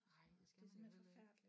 Nej det skal man da heller ikke